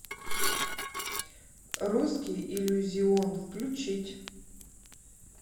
русский иллюзион включить